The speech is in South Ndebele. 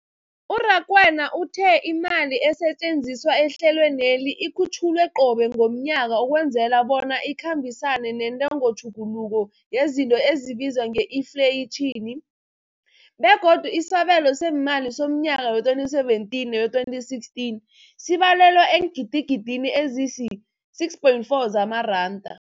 U-Rakwena uthe imali esetjenziswa ehlelweneli ikhutjhulwa qobe ngomnyaka ukwenzela bona ikhambisane nentengotjhuguluko yezinto ebizwa nge-infleyitjhini, begodu isabelo seemali somnyaka we-2017 no-2016 sibalelwa eengidigidini ezisi-6.4 zamaranda.